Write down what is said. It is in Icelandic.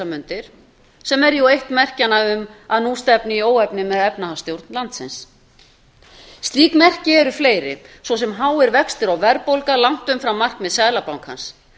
mundir sem er eitt merkjanna um að nú stefni í óefni með efnahagsstjórn landsins slík merki eru fleiri svo sem háir vextir og verðbólga langt umfram markmið seðlabankans